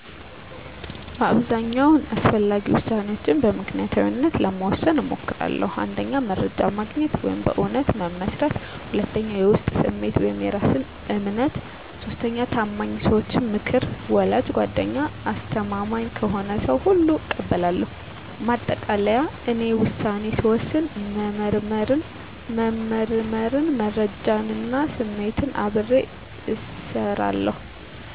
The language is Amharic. በአብዛኛው አስፈላጊ ውሳኔዎችን በምክንያታዊነት ለመወሰን እሞክራለሁ። 1. መረጃ ማግኘት (በእውነታ መመስረት) 2. የውስጥ ስሜት (የእራስ እምነት) 3. የታማኝ ሰዎች ምክር (ወላጅ፣ ጓደኛ፣ አስተማማኝ ከሆነ ሰው ሁሉ እቀበላለሁ) ማጠቃለያ፦ እኔ ውሳኔ ስወስን መመርመርን፣ መረጃን እና ስሜትን አብሬ እሰራለሁ።